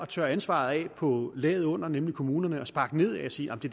tørre ansvaret af på laget under nemlig kommunerne og sparke nedad og sige at det